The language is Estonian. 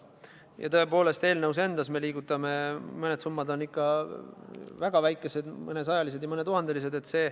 Ja tõepoolest, eelnõus endas me liigutame summasid, millest mõned on ikka väga väikesed – mõnesajalised ja mõnetuhandelised.